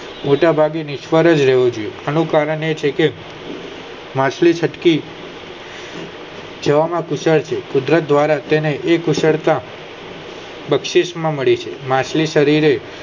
મોટા ભાગે નિષ્ફલી લેવું જોઈએ અને તેનું પરમાણ છે કે માછલી છત કી જોવા માં કુશળ છે કુદરત દ્વારા તેની કુશળતા બક્ષીક્ષ માં મળી છે માછલી શરીરે